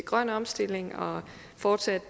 grøn omstilling og fortsat